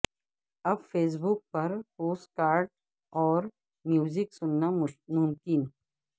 اب Facebook پر podcast اور میوزک سننا ممکن